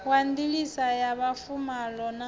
wa ndiliso ya mafuvhalo na